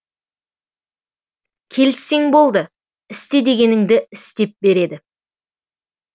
келіссең болды істе дегеніңді істеп береді